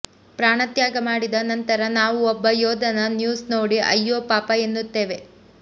ಪ್ರಾಣತ್ಯಾಗ ಮಾಡಿದ ನಂತರ ನಾವು ಒಬ್ಬ ಯೋಧನ ನ್ಯೂಸ್ ನೋಡಿ ಅಯ್ಯೋ ಪಾಪ ಎನ್ನುತ್ತೇವೆ